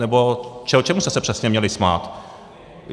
Nebo čemu jste se přesně měli smát?